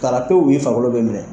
Fararatɛw y'i farikolo bɛ minɛ.